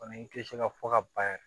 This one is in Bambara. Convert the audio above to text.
Kɔni tɛ se ka fɔ ka ban yɛrɛ